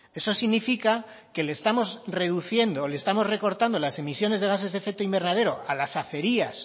eso significa que le estamos reduciendo o le estamos recortando las emisiones de gases de efecto invernadero a las acerías